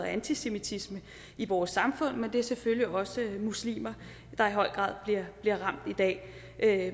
antisemitisme i vores samfund men det er selvfølgelig også muslimer der i høj grad bliver ramt i dag af